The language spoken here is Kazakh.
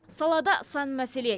салада сан мәселе